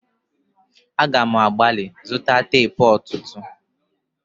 A ga m agbali zụta teepu ọtụtụ.